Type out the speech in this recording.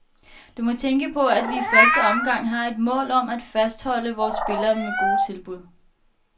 Du må tænke på, at vi i første omgang har et mål om at fastholde vore spillere med gode tilbud.